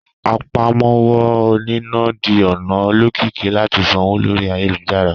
Àpámọ́wọ́ oníná di ọ̀nà olókìkí láti sanwó lórí ayélujára